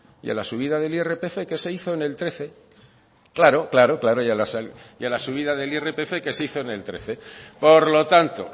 y a la subida del irpf que se hizo en el trece claro claro y a la subida del irpf que se hizo en el trece por lo tanto